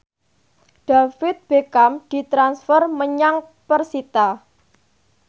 David Beckham ditransfer menyang persita